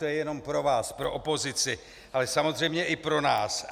To je jenom pro vás, pro opozici, ale samozřejmě i pro nás.